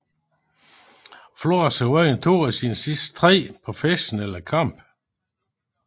Flores har vundet to af sine sidste tre professionelle kampe